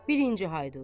Birinci Haydut.